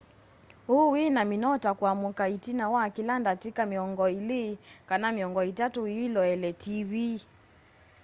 ũũ wĩ na mĩnoo ta kũamũka ĩtina wa kĩla ndatĩka mĩongoĩ ilĩ kana mĩongo ĩtatũ wĩloele tiivii